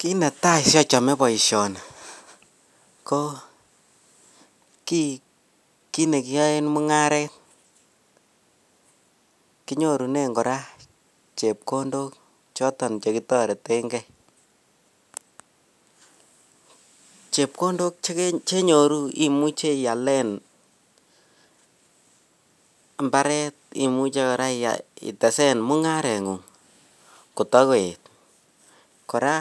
Kiit netai sikochome boishoni ko kii kinekiyoen mung'aret kinyorunen kora chepkondok choton chekitoreteng'e, chepkondok chenyoru imuche ialen imbaret imuche kora itesen mung'arengung kototun koet, kora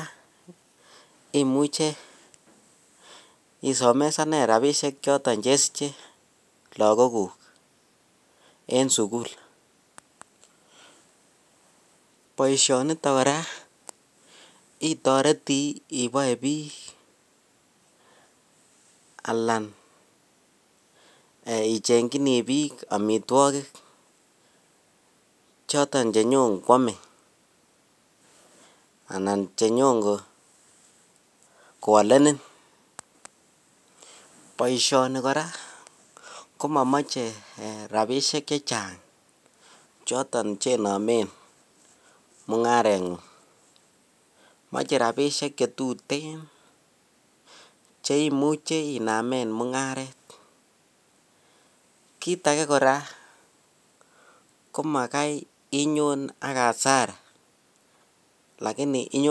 imuche isomesanen rabishek choton chesiche lokokuk en sukul, boishoniton kora kotoreti iboe biik alaan ichengyini biik amitwokik choton chenyon kwomee anan choton chenyon kwolenin, boishoni kora komomoche rabishek chechang choton chenomen mung'arengung, moche rabishek chetuten cheimuche inamen mung'aret, kiit akee kora ko makai inyon ak arsara lakini inyone.